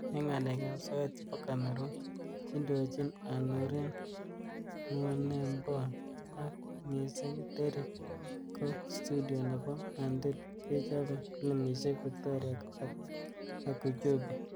Eng nga'alek ab soet chebo Cameroon kondojin Anurin Nwunembom ak Musing Derick, ko studio nebo Anthill kochobe filimishek Victoria Akujobi.